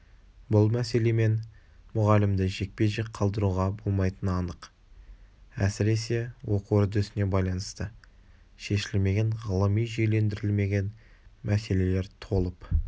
бұл мәселемен мұғалімді жекпе-жек қалдыруға болмайтыны анық әсіресе оқу үрдісіне байланысты шешілмеген ғылыми жүйелендірілмеген мәселелер толып